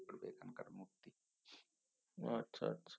ও আচ্ছা আচ্ছা